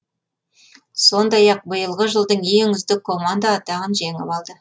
сондай ақ биылғы жылдың ең үздік команда атағын жеңіп алды